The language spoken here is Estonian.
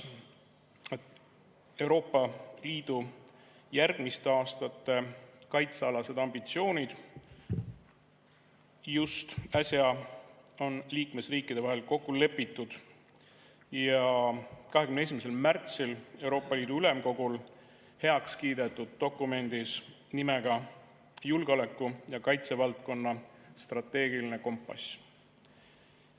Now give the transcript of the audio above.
Euroopa Liidu järgmiste aastate kaitsealased ambitsioonid on just äsja liikmesriikide vahel kokku lepitud ja 21. märtsil Euroopa Liidu Ülemkogul heaks kiidetud dokumendis nimega julgeoleku‑ ja kaitsevaldkonna strateegiline kompass.